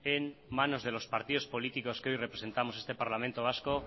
en manos de los partidos políticos que hoy representamos este parlamento vasco